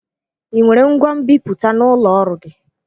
Ị nwere ngwa nbiputa n'ụlọ ọrụ gị?